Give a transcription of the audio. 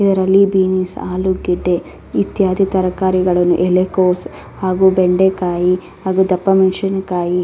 ಇದರಲ್ಲಿ ಬೀನ್ಸ್ ಆಲೂಗಡ್ಡೆ ಇತ್ಯಾದಿ ತರಕಾರಿಗಳನ್ನು ಎಲೆಕೋಸು ಹಾಗು ಬೆಂಡೆಕಾಯಿ ಹಾಗು ದಪ್ಪ ಮೆಣಸಿನಕಾಯಿ --